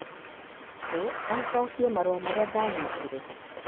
Hey, no ũcokie marũa marĩa ndanyitire